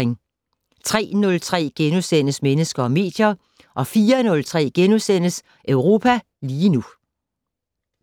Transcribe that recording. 03:03: Mennesker og medier * 04:03: Europa lige nu *